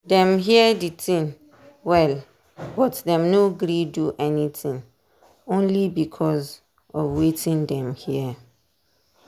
dem hear di tin well but dem no gree do anything only because of watin dem hear.